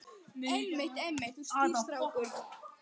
Einmitt, einmitt, þú ert skýr strákur.